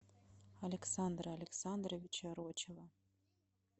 александра александровича рочева